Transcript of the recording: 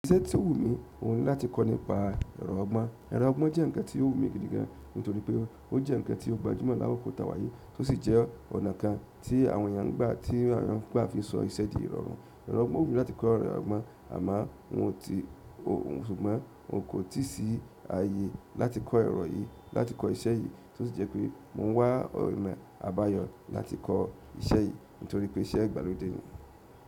Iṣẹ́ tí ó wù mí, òun ni láti kọ́ nípa ẹ̀rọ ọgbọ́n. Ẹ̀rọ ọgbọ́n jẹ́ ǹkan tí ó wù mí gidi gan, nítorí pé ó jẹ́ ǹkan tí ó gbajúmọ̀ lákokò tawá yíì, tó sì jẹ́ ọ̀nà kan tí àwọn èèyàn ń gbà tí àwọn èèyàn ń gbà fi sọ iṣẹ́ di ìrọ̀rùn. Ẹ̀rọ ọgbọ́n, ó wù mí láti kọ́ ẹ̀rọ ọgbọ́n, àmó, ṣùgbọ́n kò tíì sí ààyè láti kọ́ ẹ̀rọ yìí, láti kọ́ iṣẹ́ yìí, tó sì jẹ́ pé mò ń wá ọ̀nà àbáyọ láti kọ́ iṣẹ́ yìí, nítorí pé iṣẹ́ ìgbàlódé ni.